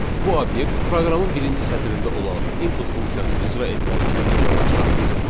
Bu obyekt proqramın birinci sətrində olan "input" funksiyası icra edilərkən ekrana çıxarılacaq.